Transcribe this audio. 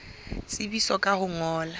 tsebisa ka ho o ngolla